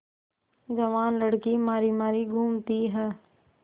जवान लड़की मारी मारी घूमती है